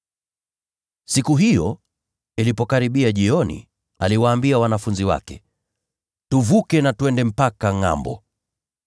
Siku hiyo ilipokaribia jioni, aliwaambia wanafunzi wake, “Tuvukeni twende mpaka ngʼambo.”